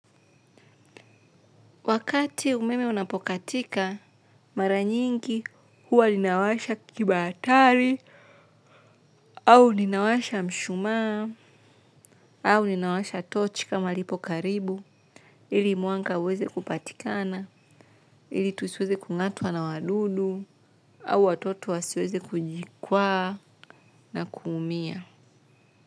Wakati umeme unapokatika, mara nyingi huwa ninawasha kibatari, au ninawasha mshumaa, au ninawasha tochi kama lipo karibu, ili mwanga uweze kupatikana, ili tusiweze kung'atwa na wadudu, au watoto wasiweze kujikwaa na kuumia.